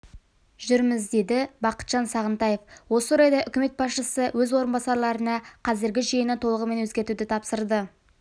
жүрміз деді бақытжан сағынтаев осы орайда үкімет басшысы өз орынбасарларына қазіргі жүйені толығымен өзгертуді тапсырды